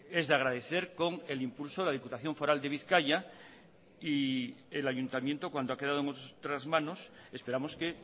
es de agradecer con el impulso de la diputación foral de bizkaia y el ayuntamiento cuando ha quedado en otras manos esperamos que